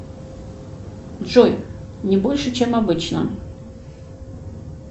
джой не больше чем обычно